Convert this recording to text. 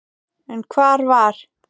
En hvar var